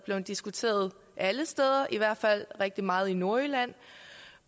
blevet diskuteret alle steder i hvert fald rigtig meget i nordjylland